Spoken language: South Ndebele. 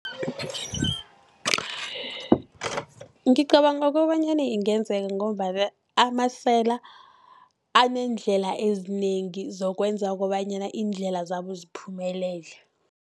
Ngicabanga kobanyana ingenzeka, ngombana amasela aneendlela ezinengi zokwenza kobanyana, iindlela zabo ziphumelele.